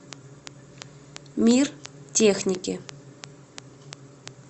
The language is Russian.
мир техники